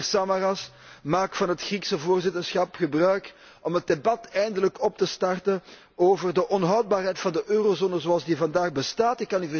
Meneer Samaras, maak van het Griekse voorzitterschap gebruik om het debat eindelijk op te starten over de onhoudbaarheid van de eurozone zoals die vandaag bestaat.